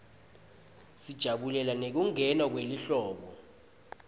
sijabulela nekungena kwelihlobo